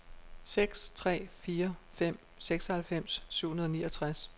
seks tre fire fem seksoghalvfems syv hundrede og niogtres